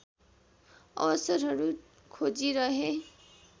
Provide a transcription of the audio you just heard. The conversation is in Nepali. अवसरहरू खोजिरहे